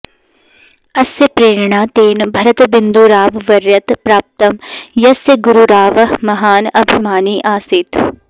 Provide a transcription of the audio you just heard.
अस्य प्रेरणा तेन भरतबिन्दूराववर्यात् प्राप्तं यस्य गुरुरावः महान् अभिमानी आसीत्